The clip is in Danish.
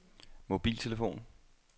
mobiltelefon